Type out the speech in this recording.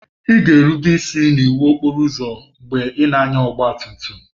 Ị ga-erube isi n'iwu okporo ụzọ mgbe ị na-anya ọgba tum tum.